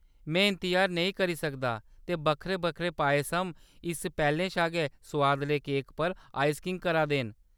में इंतजार नेईं करी सकदा, ते बक्खरे-बक्खरे पायसम इस पैह्‌‌‌लें शा गै सुआदले केकै पर आइसिंग करा दे न।